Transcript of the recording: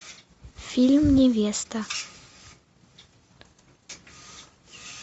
фильм невеста